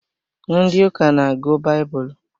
Ndị ụka n'agụ baibulu